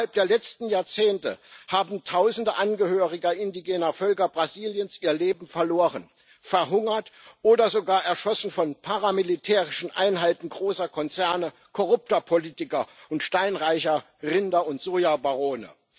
Innerhalb der letzten Jahrzehnte haben tausende Angehörige indigener Völker Brasiliens ihr Leben verloren, sind verhungert oder wurden sogar erschossen von paramilitärischen Einheiten großer Konzerne, korrupter Politiker und steinreicher Rinder und Sojabarone.